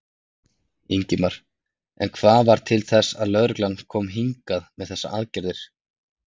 Ingimar: En hvað varð til þess að lögreglan kom hingað með þessar aðgerðir?